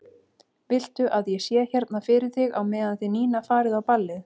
Viltu að ég sé hérna fyrir þig á meðan þið Nína farið á ballið?